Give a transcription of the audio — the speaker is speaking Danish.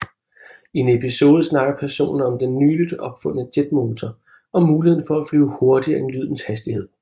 I en episode snakker personerne om den nyligt opfundne jetmotor og muligheden for at flyve hurtigere end lydens hastighed